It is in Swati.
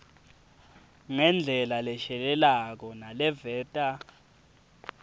ngendlela leshelelako naleveta